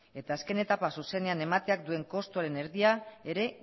eta azken etapak zuzenean duen kostuaren erdia ere